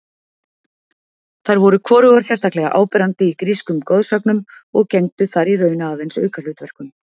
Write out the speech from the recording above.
Þær voru hvorugar sérstaklega áberandi í grískum goðsögnum og gegndu þar í raun aðeins aukahlutverkum.